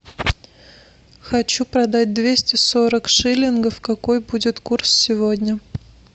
хочу продать двести сорок шиллингов какой будет курс сегодня